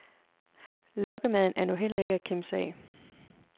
Lokkemaden er nu heller ikke at kimse ad.